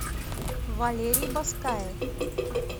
валерий баскаев